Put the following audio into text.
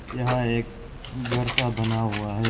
यहां एक घर सा बना हुआ है।